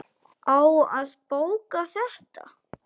Á að bóka þetta?